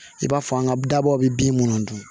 I b'a fɔ an ka dabaw bɛ bin minnu dun